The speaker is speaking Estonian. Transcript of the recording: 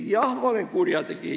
Jah, ma olen kurjategija.